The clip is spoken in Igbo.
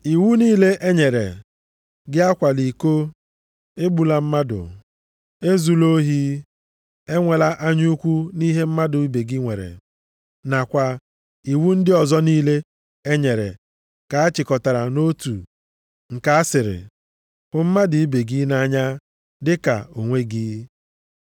Iwu niile e nyere, “Gị akwala iko,” “Egbula mmadụ,” “Ezula ohi,” “Enwela anya ukwu nʼihe mmadụ ibe gị nwere,” + 13:9 \+xt Ọpụ 20:13-15,17; Dit 5:17-19,21\+xt* nakwa iwu ndị ọzọ niile e nyere ka a chịkọtara nʼotu nke a sịrị: “Hụ mmadụ ibe gị nʼanya dịka onwe gị.” + 13:9 \+xt Lev 19:18\+xt*